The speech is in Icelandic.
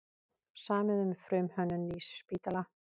Samið um frumhönnun nýs spítala